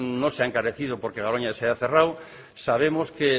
no se ha encarecido porque garoña se haya cerrado sabemos que